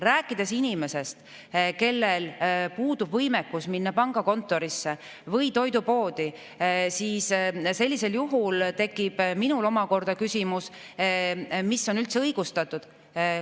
Rääkides inimesest, kellel puudub võimekus minna pangakontorisse või toidupoodi, tekib minul omakorda küsimus, et mis on üldse õigustatud.